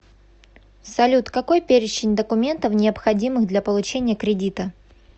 салют какой перечень документов необходимых для получения кредита